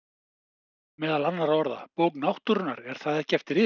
Meðal annarra orða: Bók náttúrunnar- er það eftir yður?